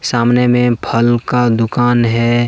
सामने में फल का दुकान है।